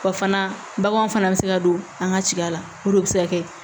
O fana baganw fana bɛ se ka don an ka cida la olu de bɛ se ka kɛ